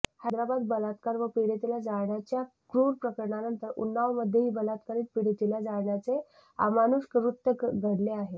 हैद्राबाद बलात्कार व पीडीतेला जाळण्याच्या क्रूर प्रकरणानंतर उन्नावमध्येही बलात्कारित पीडीतेला जाळण्याचे अमाणुष कृत्य घडले आहे